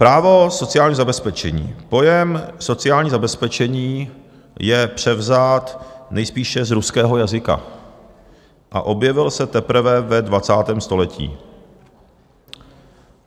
"Právo sociálního zabezpečení - pojem sociální zabezpečení je převzat nejspíše z ruského jazyka a objevil se teprve ve 20. století.